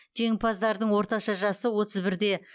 жеңімпаздардың орташа жасы отыз бірде